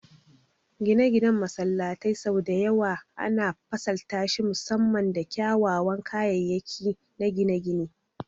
Gine-ginen masallatai sau da yawa ana fasaltashi musamman da kyawawan kayayyaki na gine-gine.